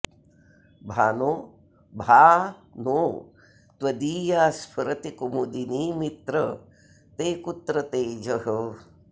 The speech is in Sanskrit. भानो भा नो त्वदीया स्फुरति कुमुदिनीमित्र ते कुत्र तेजः